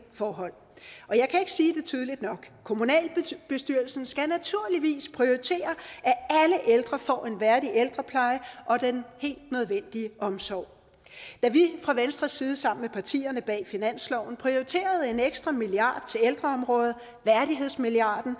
forhold jeg kan ikke sige det tydeligt nok kommunalbestyrelsen skal naturligvis prioritere at alle ældre får en værdig ældrepleje og den helt nødvendige omsorg da vi fra venstres side sammen med partierne bag finansloven prioriterede en ekstra milliard kroner til ældreområdet værdighedsmilliarden